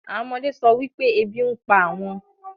àwọn ọmọdé sọ wípé ebi ń pa àwọn